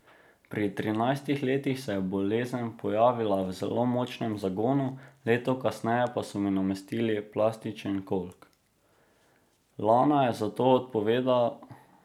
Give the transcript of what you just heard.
Pri trinajstih letih se je bolezen pojavila v zelo močnem zagonu, leto kasneje pa so mi namestili plastičen kolk.